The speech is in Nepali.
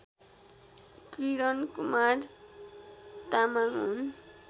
किरणकुमार तामाङ हुन्